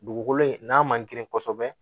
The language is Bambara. Dugukolo in n'a man girin kosɛbɛ